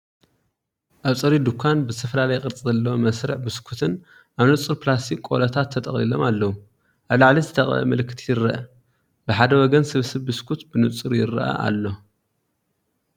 ኣብ ጽሩይ ድኳን፡ ብዝተፈላለየ ቅርጺ ዘለዎም መስርዕ ቢስኩትን፡ ኣብ ንጹር ፕላስቲክ ቆሎታት ተጠቕሊሎም ኣለዉ። ኣብ ላዕሊ ዝተቐብአ ምልክት ይርአ፤ ብሓደ ወገን ስብስብ ቢስኩት ብንጹር ይርአ ኣሎ።